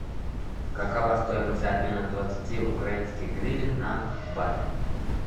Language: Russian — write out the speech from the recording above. какова стоимость обмена двадцати украинских гривен на бат